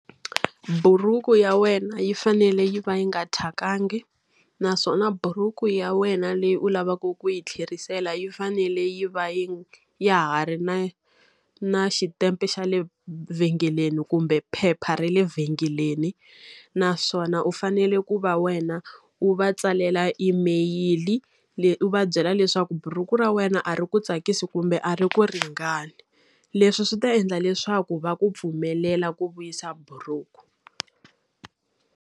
Buruku ya wena yi fanele yi va yi nga thyakangi, naswona buruku ya wena leyi u lavaka ku yi tlherisela yi fanele yi va yi ya ha ri na na xitempe xa le vhengeleni kumbe phepha ra le vhengeleni. Naswona u fanele ku va wena u va tsalela email-i leyi u va byela leswaku buruku ra wena a ri ku tsakisi kumbe a ri ku ringani. Leswi swi ta endla leswaku va ku pfumelela ku vuyisa buruku.